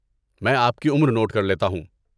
میں آپ کی عمر نوٹ کر لیتا ہوں۔